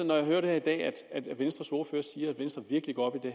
når jeg i dag hører venstres ordfører sige at venstre virkelig går op i